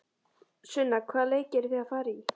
Sunna: Hvaða leiki eruð þið að fara í?